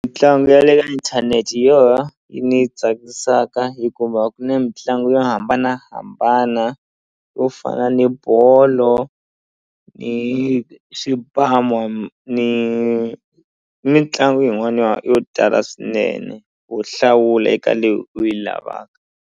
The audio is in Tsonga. Mitlangu ya le ka inthanete hi yi ni tsakisaka hikuva ku na mitlangu yo hambanahambana yo fana ni bolo ni ni mitlangu yin'wana ya yo tala swinene wo hlawula eka leyi u yi lavaka.